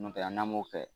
N'o tɛ an' m'o kɛ